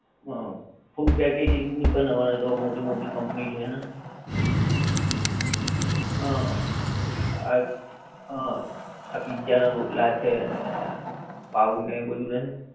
હા, full packaging ની હવે તો મોટી મોટી કંપની છે ને, હા આ હા, આ pizza ના રોટલા છે અને પાવ ને એ બધું નહીં